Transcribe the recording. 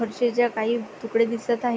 फरशीच्या काही तुकडे दिसत आहे.